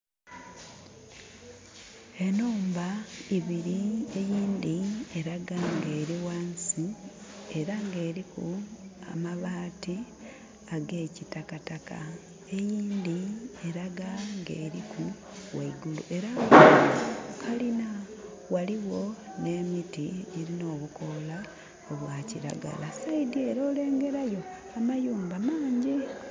Enhumba ibiri eyindhi eraga nga eri wansi era nga eriku amabaati ag'ekitakataka eyindhi eraga nga eriku waigulu era nga kalina waliwo n'emiti egirina obukoola obwakilagala saidi ere olengerayo amayumba maanji.